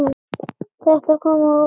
Þetta kom á óvart.